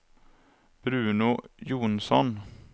Bruno Jonsson